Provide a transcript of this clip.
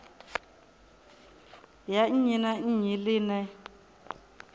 ya nnyi na nnyi ḽine